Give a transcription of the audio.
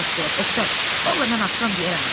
Xasbolat, Oqtay, vallah mən axşam deyərəm də.